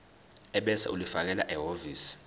ebese ulifakela ehhovisi